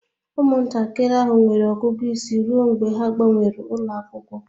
Ụmụntakịrị ahụ nwere ọgụgụ isi ruo mgbe ha gbanwere ụlọ akwụkwọ